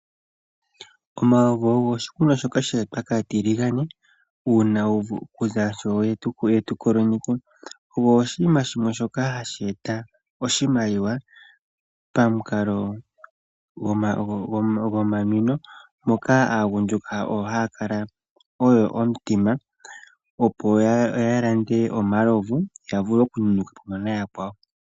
Omalovu ogo oshikunwa shoka she etwa kaatiligane kuza sho ye tu kolonyeke ano oshinima shoka hashi eta oshimaliwa pamukalo gwomanwino moka aagundjuka oyo haya kala oyo omutima opo ya lande omalovu yavule okunwa na yakwawo.